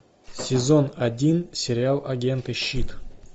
сезон один сериал агенты щит